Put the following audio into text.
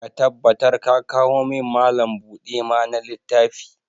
Ka tabbatar ka kawo min Mallam buɗe ma na littafi!